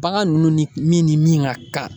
Bagan ninnu ni min ni min ka kan